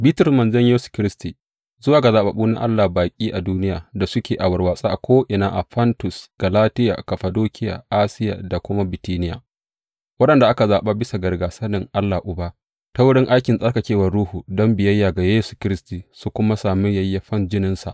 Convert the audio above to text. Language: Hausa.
Bitrus, manzon Yesu Kiristi, Zuwa ga zaɓaɓɓu na Allah, baƙi a duniya, da suke a warwatse ko’ina a Fontus, Galatiya, Kaffadokiya, Asiya da kuma Bitiniya, waɗanda aka zaɓa bisa ga rigyasanin Allah Uba, ta wurin aikin tsarkakewar Ruhu, don biyayya ga Yesu Kiristi, su kuma sami yayyafan jininsa.